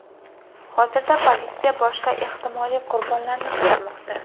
Hozirda politsiya boshqa ehtimoliy qurbonlarni qidirmoqda.